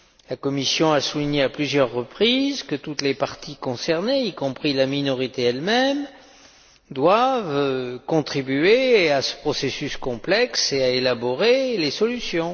La Commission a souligné à plusieurs reprises que toutes les parties concernées, y compris la minorité elle même, doivent contribuer à ce processus complexe et à élaborer les solutions.